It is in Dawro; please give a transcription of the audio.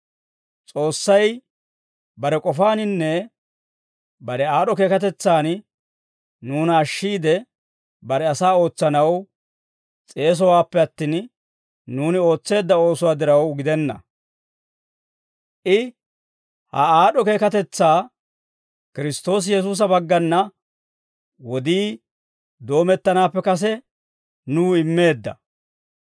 S'oossay bare k'ofaaninne bare aad'd'o keekatetsan nuuna ashshiide, bare asaa ootsanaw s'eesowaappe attin, nuuni ootseedda oosuwaa diraw gidenna. I ha aad'd'o keekatetsaa Kiristtoosi Yesuusa baggana wodii doomettanaappe kase nuw immeedda.